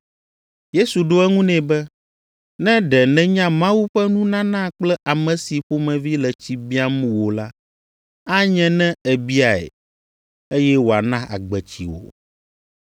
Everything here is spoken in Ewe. Yesu ɖo eŋu nɛ be, “Ne ɖe nènya Mawu ƒe nunana kple ame si ƒomevi le tsi biam wò la, anye ne èbiae, eye wòana agbetsi wò.”